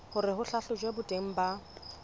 hore ho hlahlojwe boteng ba